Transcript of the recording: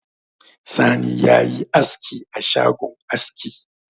Sani ya yi askioa shagon aski